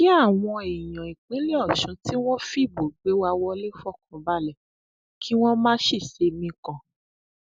kí àwọn èèyàn ìpínlẹ ọṣun tí wọn fìbò gbé wá wọlé fọkàn balẹ kí wọn má sì ṣe mikàn